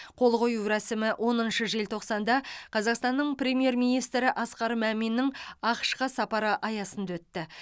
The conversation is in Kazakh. қол қою рәсімі оныншы желтоқсанда қазақстанның премьер министрі асқар маминнің ақш қа сапары аясында өтті